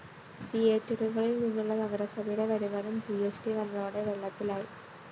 തിയേറ്ററുകളില്‍ നിന്നുള്ള നഗരസഭയുടെ വരുമാനം ജി സ്‌ ട്‌ വന്നതോടെ വെള്ളത്തിലായി